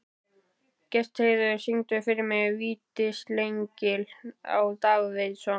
Gestheiður, syngdu fyrir mig „Vítisengill á Davidson“.